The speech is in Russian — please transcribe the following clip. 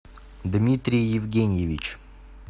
дмитрий евгеньевич